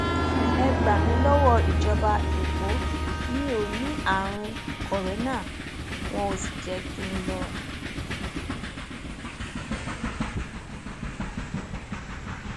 ẹ gbà mí lọwọ ìjọba ẹkọ mi ò ní àrùn kòrénà wọn ò sì jẹ kí n lọ